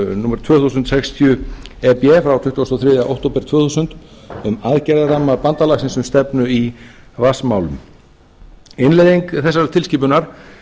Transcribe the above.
númer tvö þúsund sextíu e b frá tuttugasta og þriðja október tvö þúsund um aðgerðaramma bandalagsins um stefnu í vatnsmálum innleiðing þessara tilskipunar